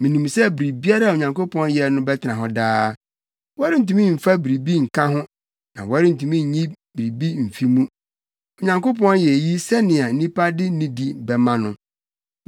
Minim sɛ biribiara a Onyankopɔn yɛ no bɛtena hɔ daa, wɔrentumi mfa biribi nka ho na wɔrentumi nyi biribi mfi mu. Onyankopɔn yɛ eyi sɛnea nnipa de nidi bɛma no.